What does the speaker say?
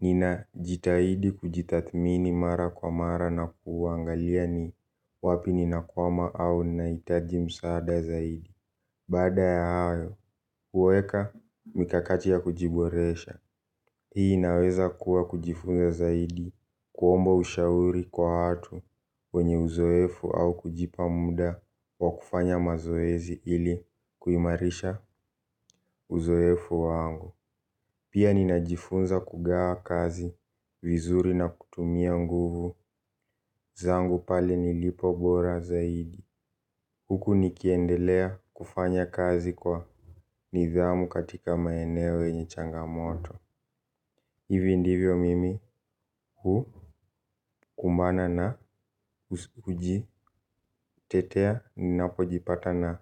Ninajitahidi kujitadhamini mara kwa mara na kuangalia ni wapi ninakwama au nahitaji msaada zaidi. Baada ya hayo, huweka mikakati ya kujiboresha. Hii inaweza kuwa kujifunza zaidi kuomba ushauri kwa watu wenye uzoefu au kujipa muda wa kufanya mazoezi ili kuimarisha uzoefu wangu. Pia ninajifunza kugawa kazi, vizuri na kutumia nguvu, zangu pale nilipo bora zaidi. Huku nikiendelea kufanya kazi kwa nidhamu katika maeneo yenye changamoto. Hivi ndivyo mimi hukumbana na kujitetea ninapojipata na uji.